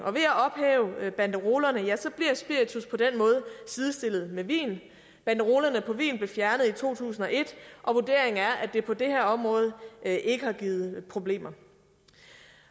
ved at ophæve banderolerne bliver spiritus på den måde sidestillet med vin banderolerne på vin blev fjernet i to tusind og et og vurderingen er at det på det her område ikke har givet problemer